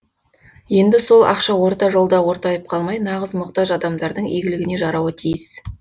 енді сол ақша орта жолда ортайып қалмай нағыз мұқтаж адамдардың игілігіне жарауы тиіс